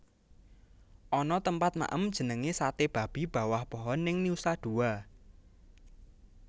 Ana tempat maem jenenge Sate Babi Bawah Pohon ning Nusa Dua